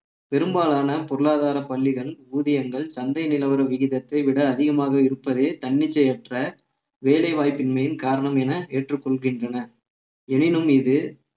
பெரும்பாலான பொருளாதார பள்ளிகள் ஊதியங்கள் சந்தை நிலவர விகிதத்தை விட அதிகமாக இருப்பதே தன்னிச்சையற்ற வேலை வாய்ப்பின்மையின் காரணம் என ஏற்றுக் கொள்கின்றன எனினும் இது